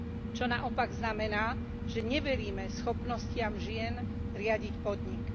Čo naopak znamená, že neveríme schopnostiam žien riadiť podnik.